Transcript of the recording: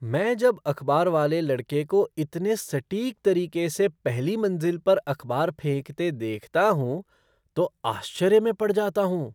मैं जब अखबार वाले लड़के को इतने सटीक तरीके से पहली मंजिल पर अखबार फेंकते देखता हूँ तो आश्चर्य में पड़ जाता हूँ।